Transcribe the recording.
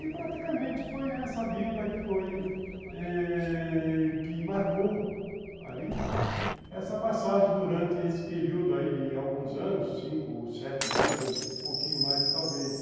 E praticamente foi essa vida que foi ãh que marcou essa passagem durante esse período aí de alguns anos, cinco, sete anos, um pouquinho mais talvez.